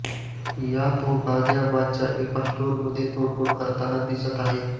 यात तो गाझियाबादच्या एका स्टोरमध्ये तोडफोड करताना दिसत आहे